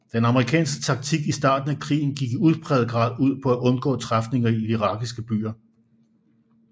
Den amerikanske taktik i starten af krigen gik i udpræget grad ud på at undgå træfninger i de irakiske byer